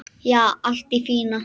Já, allt í fína.